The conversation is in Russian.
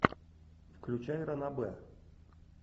включай ранобэ